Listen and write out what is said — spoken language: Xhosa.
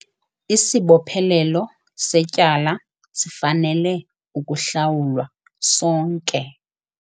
Isibophelelo setyala sifanele ukuhlawulwa sonke.